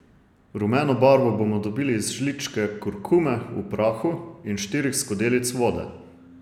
Rumeno barvo bomo dobili iz žličke kurkume v prahu in štirih skodelic vode.